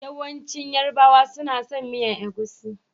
Yawancin yarbawa suna son miyan egusi.